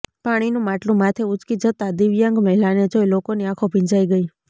પાણીનું માટલું માથે ઊંચકી જતાં દિવ્યાંગ મહિલાને જોઈ લોકોની આંખો ભીંજાઈ ગઈ